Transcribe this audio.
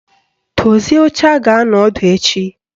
Dozie oche a ga-anọ ọdụ echi!